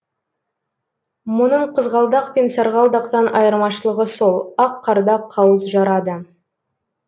мұның қызғалдақ пен сарғалдақтан айырмашылығы сол ақ қарда қауыз жарады